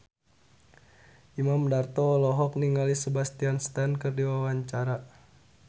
Imam Darto olohok ningali Sebastian Stan keur diwawancara